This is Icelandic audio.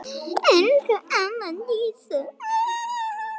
Elsku amma Dísa.